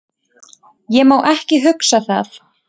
Ég má ekki hugsa það.